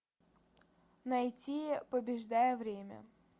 найти побеждая время